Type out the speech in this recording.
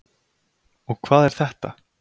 Og hvað er þetta?